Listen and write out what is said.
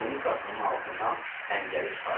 Tunikasının altından xəncəri çıxardı.